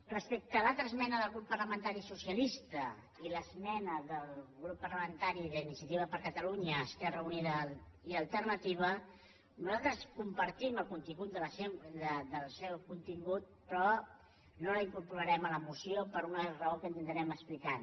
respecte a l’altra esmena del grup parlamentari socialista i l’esmena del grup parlamentari d’iniciativa per catalunya verds esquerra unida i alternativa nosaltres compartim el seu contingut però no la incorporarem a la moció per una raó que intentarem explicar